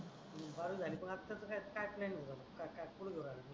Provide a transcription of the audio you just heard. बारावी झाली पण आता त्याच काय काय प्लॅनींग काय काय कुठे घेऊ राहला